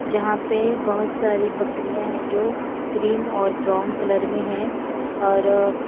जहां पे बहोत सारी बकरियां है जो क्रीम और ब्राउन कलर में है और--